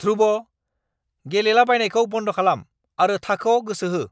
ध्रुव, गेलेलाबायनायखौ बन्द खालाम आरो थाखोआव गोसो हो!